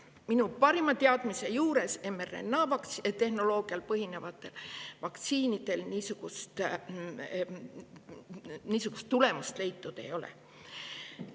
Minu parima teadmise juures mRNA-tehnoloogial põhinevatel vaktsiinidel niisugust tulemust leitud ei ole.